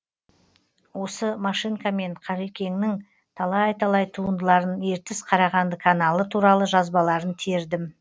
осы машинкамен қалекеңнің талай талай туындыларын ертіс қарағанды каналы туралы жазбаларын тердім